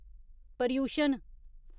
Paryushan